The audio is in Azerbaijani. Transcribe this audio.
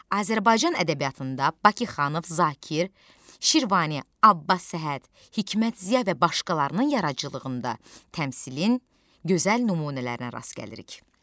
Azərbaycan ədəbiyyatında Bakıxanov, Zakir, Şirvani, Abbas Səhət, Hikmət Ziya və başqalarının yaradıcılığında təmsilin gözəl nümunələrinə rast gəlirik.